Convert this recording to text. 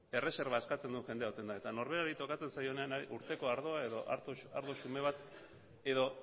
erreserba eskatzen duen jendea egoten da eta norberari tokatzen zaionean urteko ardoa edo ardo xume bat edo